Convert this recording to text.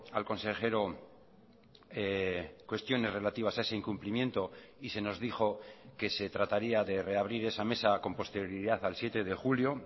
al consejero cuestiones relativas a ese incumplimiento y se nos dijo que se trataría de reabrir esa mesa con posterioridad al siete de julio